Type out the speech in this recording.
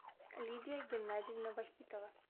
лидия геннадьевна вахитова